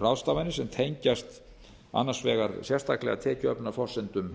ráðstafanir sem tengjast annars vegar sérstaklega tekjuöflunarforsendum